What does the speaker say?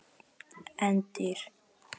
En dýrin?